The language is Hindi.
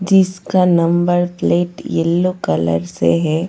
जिसका नंबर प्लेट येलो कलर से है.